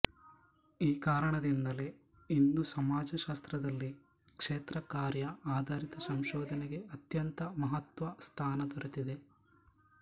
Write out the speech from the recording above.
ಈ ಕಾರಣದಿಂದಲೇ ಇಂದು ಸಮಾಜಶಾಸ್ತ್ರದಲ್ಲಿ ಕ್ಷೇತ್ರಕಾರ್ಯ ಆಧಾರಿತ ಸಂಶೋಧನೆಗೆ ಅತ್ಯಂತ ಮಹತ್ತ್ವ ಸ್ಥಾನ ದೊರೆತಿದೆ